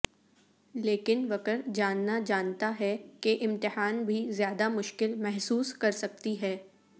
لیکن وکر جاننا جانتا ہے کہ امتحان بھی زیادہ مشکل محسوس کر سکتی ہے